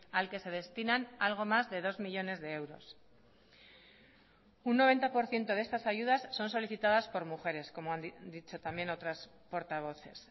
al que se destinan algo más de dos millónes de euros un noventa por ciento de estas ayudas son solicitadas por mujeres como han dicho también otras portavoces